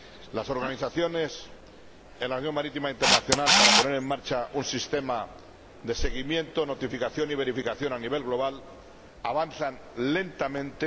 Las negociaciones en la Organización Marítima Internacional para poner en marcha un sistema de seguimiento, notificación y verificación a nivel global avanzan lentamente